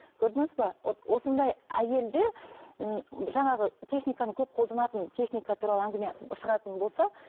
көрдіңіз бе вот осындай әйелдер ііі жаңағы техниканы көп қолданатын техника туралы әңгіме шығатын болса